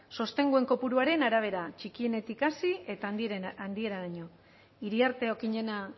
sostenguen kopuruaren arabera txikienetik hasi eta handieneraino iriarte okiñena